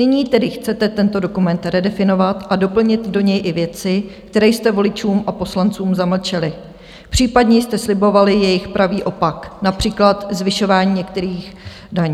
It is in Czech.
Nyní tedy chcete tento dokument redefinovat a doplnit do něj i věci, které jste voličům a poslancům zamlčeli, případně jste slibovali jejich pravý opak, například zvyšování některých daní.